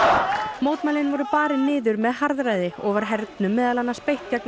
mótmælin voru barin niður með harðræði og var hernum meðal annars beitt gegn